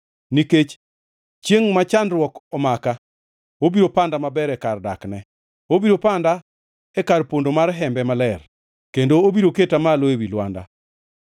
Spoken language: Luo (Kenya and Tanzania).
Nikech chiengʼ ma chandruok omaka obiro panda maber e kar dakne; obiro panda e kar pondo mar hembe maler kendo obiro keta malo ewi lwanda.